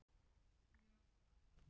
Þarf að afplána eftirstöðvar refsingar